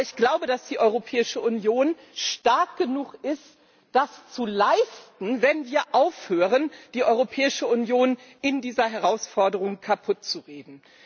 Aber ich glaube, dass die Europäische Union stark genug ist, das zu leisten, wenn wir aufhören, die Europäische Union in dieser Herausforderung kaputtzureden.